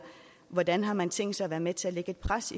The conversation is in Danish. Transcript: hvordan har man tænkt sig at være med til at lægge pres